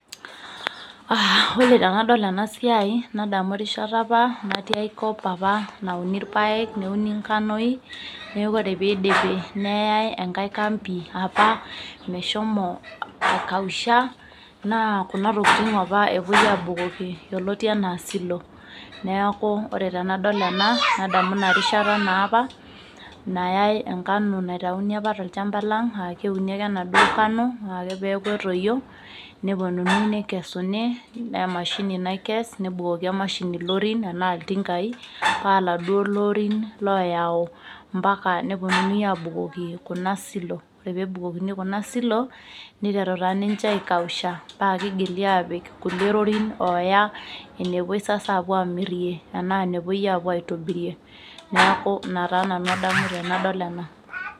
Aaa ore tenadol ena siai nadamu aaikata apa natio ae kop neuni irpaek neidipi neyai enkai kambi meshomo aikausha naa kuna tokitin apa epuoi aibung aabukoki yioloto enaa silo neeeku ore tenadol ena nadamu ina rishata naa apa nayai enkano naitauni apa tochamba lang aa keuni ake ena duo kano ore ake peeeku etoyio nepuonunui neikesuni naa emashini naikes nebukoki emashini ilorin enaa iltinkai paaladuo lorin looyau impaka nepuonunui abukoki kuna silo ore pee ebukokini kuna silo meiteru taa ninche aikausa paa keitoki aabukoki kulie lorin neiteru aaya enepuoi aamiri enaa enepuoi aapuo aitobirie neeku ina taa nanu adamu tenadol ena